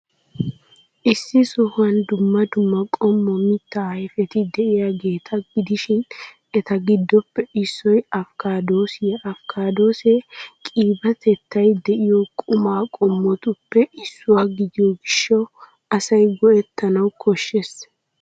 Issi sohuwan dumma dumma qommo mittaa ayfeti de'iyaageeta gidishin, eta giddoppe issoy afkkaadoosiyaa Afkkaadoosee qibaatetettay de'iyoo quma qommotuppe issuwaa gidiyoo gishshawu asay go'ettanawu koshshees.